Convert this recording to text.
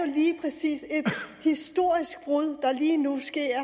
lige præcis et historisk brud der lige nu sker